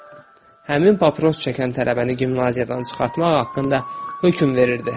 həmin papros çəkən tələbəni gimnaziyadan çıxartmaq haqqında hökm verirdi.